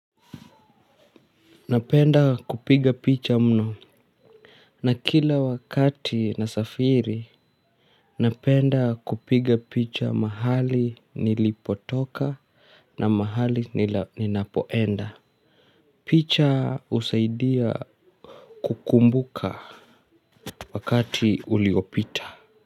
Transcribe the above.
Napenda kupiga picha mno na kila wakati na safiri napenda kupiga picha mahali nilipotoka na mahali ninapoenda. Picha usaidia kukumbuka wakati uliopita.